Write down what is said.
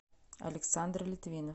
александр литвинов